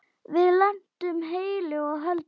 Við lentum heilu og höldnu.